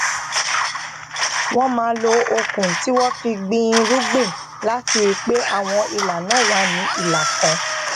wón máa lo okùn tí wón fi gbìn irúgbìn láti rí pé àwọn ìlà náà wà ní ìlà kan